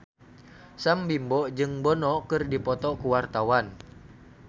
Sam Bimbo jeung Bono keur dipoto ku wartawan